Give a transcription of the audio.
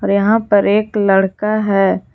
यहां पर एक लड़का है।